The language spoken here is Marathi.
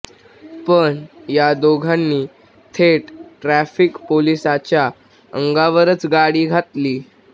पण या दोघांनी थेट ट्रॅफिक पोलिसाच्या अंगावरच गाडी घातली